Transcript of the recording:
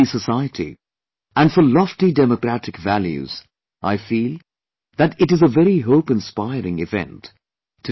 For a healthy society, and for lofty democratic values I feel that, it is a very hope inspiring event